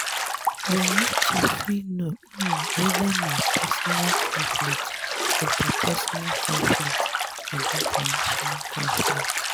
we need to fit know um weda na personal conflict interpersonal conflict and international conflict